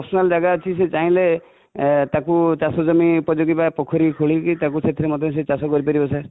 ଯାହାର personal ଜାଗା ଅଛି, ସେ ଚାହିଁଲେ ତାକୁ ଚାଷ ଜମି ଉପଯୋଗୀ ବା ପୋଖରୀ ଖୋଲି କି ତାକୁ ସେଥିରେ ମଧ୍ୟ ଚାଷ କରି ପାରିବ sir